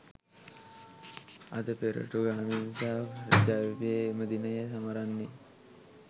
අද පෙරටුගාමින් සහ ජවිපෙ එම දිනය සමරන්නේ